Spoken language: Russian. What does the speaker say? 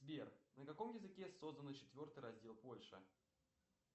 сбер на каком языке создан четвертый раздел польши